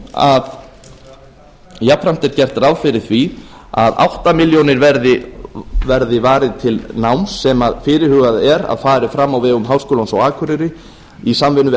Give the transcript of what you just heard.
árin jafnframt er gert ráð fyrir því að áttundu milljón króna verði varið til náms sem fyrirhugað er að fari fram á vegum háskólans á akureyri í samvinnu við